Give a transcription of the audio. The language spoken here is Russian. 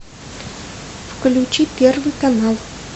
включи первый канал